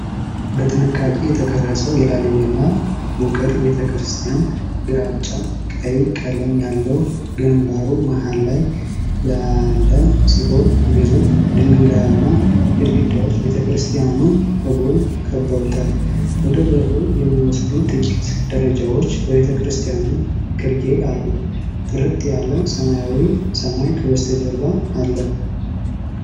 በጥንቃቄ የተቀረጸው የላሊበላ ውቅር ቤተክርስቲያን፣ ግራጫ ቀይ ቀለም ያለው ግንባሩ መሃል ላይ ያለ ሲሆን ግዙፍ ድንጋያማ ግድግዳዎች ቤተክርስቲያኑን ከጎን ከበውታል። ወደ በሩ የሚወስዱ ጥቂት ደረጃዎች በቤተክርስቲያኑ ግርጌ አሉ። ጥርት ያለ ሰማያዊ ሰማይ ከበስተጀርባ አለ።